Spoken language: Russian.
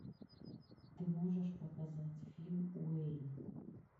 ты можешь показать фильм уэйн